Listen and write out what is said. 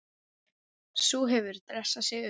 Sú hefur dressað sig upp!